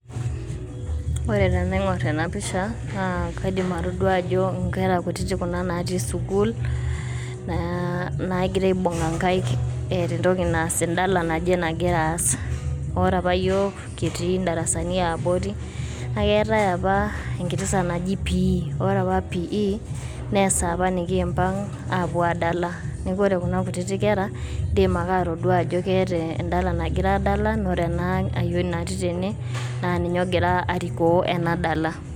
ore tenaingorr ena picha naa, kaidim atodua ajo inkera kutiti kuna natii sukul , aaa nangira aibunga inkaik eta entoki naas endala naje nangira ass, ore apa iyiok kitii idarasani yiabori na ketae apa enkiti saa naji pii, ore apa pii na esaa apa nikimpang apuo adala, niaku ore kuna kutiti kera indim ake atodua ajo keeta endala nangira adala na ore ena ayioni natii tene na ninye ongira ariko ena dala.